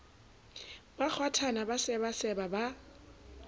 ba kgwathana ba sebaseba ba